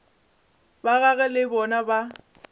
ba gagwe le bona ba